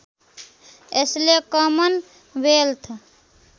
यसले common wealth